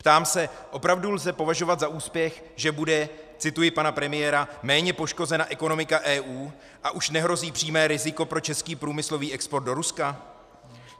Ptám se: opravdu lze považovat za úspěch, že bude, cituji pana premiéra, méně poškozena ekonomika EU a už nehrozí přímé riziko pro český průmyslový export do Ruska?